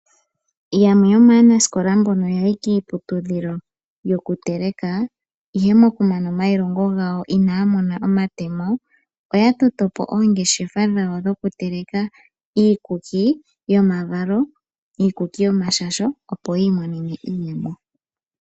Yamwe yo maanasikola mboka ya yi kiiputudhilo yokuteleka, ihe mokumana omailongo gawo ina ya mona omatemo ,oya toto po oongeshefa dhawo dhoku teleka iikuki yoomavalo, iikuki yomashasho, opo yi imonene iiyemo.